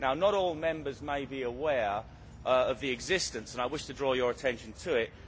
Not all Members may be aware of its existence, and I wish to draw your attention to it.